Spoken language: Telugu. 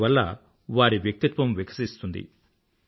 దానివల్ల వారి వ్యక్తిత్వం వికసిస్తుంది